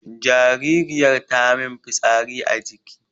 jaririyar tamin fitsari a jiki